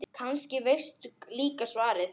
Kannski veistu líka svarið.